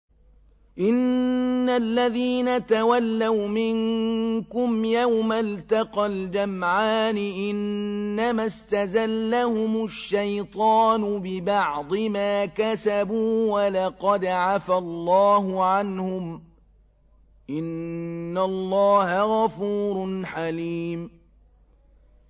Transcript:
إِنَّ الَّذِينَ تَوَلَّوْا مِنكُمْ يَوْمَ الْتَقَى الْجَمْعَانِ إِنَّمَا اسْتَزَلَّهُمُ الشَّيْطَانُ بِبَعْضِ مَا كَسَبُوا ۖ وَلَقَدْ عَفَا اللَّهُ عَنْهُمْ ۗ إِنَّ اللَّهَ غَفُورٌ حَلِيمٌ